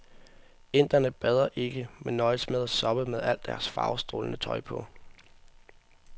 Inderne bader ikke, men nøjes med at soppe med al deres farvestrålende tøj på.